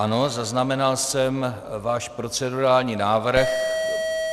Ano, zaznamenal jsem váš procedurální návrh.